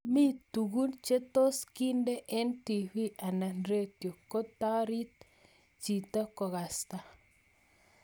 Mi tungun che tos keende eng tv anan radio kotarit chito kokasta